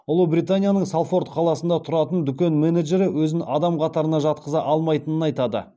ұлыбританияның салфорд қаласында тұратын дүкен менеджері өзін адам қатарына жатқыза алмайтынын айтады